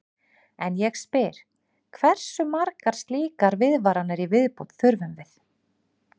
En ég spyr: Hversu margar slíkar viðvaranir í viðbót þurfum við?